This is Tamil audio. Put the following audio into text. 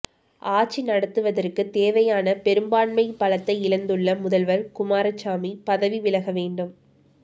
ஆட்சி நடத்துவதற்குத் தேவையான பெரும்பான்மை பலத்தை இழந்துள்ள முதல்வர் குமாரசாமி பதவிவிலக வேண்டும்